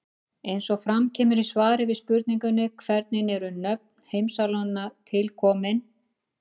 Eins og fram kemur í svari við spurningunni Hvernig eru nöfn heimsálfanna til komin?